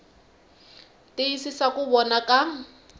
tiyisisa ku va kona ka